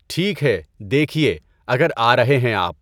ٹھیک ہے دیکھیے اگر آ رہے ہیں آپ۔